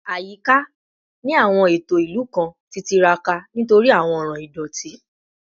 Ayika ni awọn eto ilu kan ti tiraka nitori awọn ọran idoti